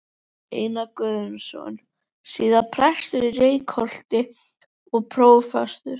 Einar Guðnason, síðar prestur í Reykholti og prófastur.